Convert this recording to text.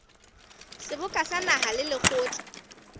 seboka sa naha le lekgotla